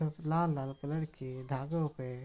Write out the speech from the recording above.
सब लाल-लाल कलर के धागो पे --